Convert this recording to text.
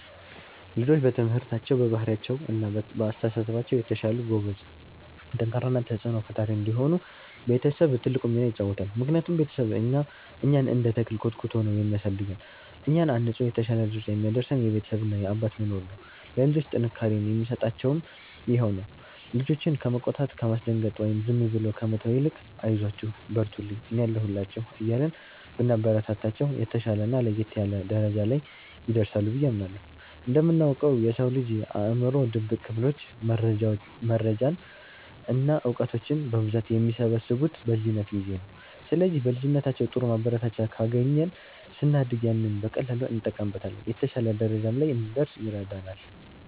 ልጆች በትምህርታቸው፣ በባህሪያቸው እና በአስተሳሰባቸው የተሻሉ፣ ጎበዝ፣ ጠንካራ እና ተጽዕኖ ፈጣሪ እንዲሆኑ ቤተሰብ ትልቁን ሚና ይጫወታል። ምክንያቱም ቤተሰብ እኛን እንደ ተክል ኮትኩቶ ነው የሚያሳድገን፤ እኛን አንጾ የተሻለ ደረጃ የሚያደርሰን የቤተሰብ እና የአባት መኖር ነው። ለልጆች ጥንካሬን የሚሰጣቸውም ይሄው ነው። ልጆችን ከመቆጣት፣ ከማስደንገጥ ወይም ዝም ብሎ ከመተው ይልቅ 'አይዟችሁ፣ በርቱልኝ፣ እኔ አለሁላችሁ' እያልን ብናበረታታቸው፣ የተሻለና ለየት ያለ ደረጃ ላይ ይደርሳሉ ብዬ አምናለሁ። እንደምናውቀው፣ የሰው ልጅ አእምሮ ድብቅ ክፍሎች መረጃዎችን እና እውቀቶችን በብዛት የሚሰበስቡት በልጅነት ጊዜ ነው። ስለዚህ በልጅነታችን ጥሩ ማበረታቻ ካገኘን፣ ስናድግ ያንን በቀላሉ እንጠቀምበታለን፤ የተሻለ ደረጃ ላይም እንድንደርስ ይረዳናል።